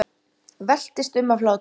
Veltist um af hlátri.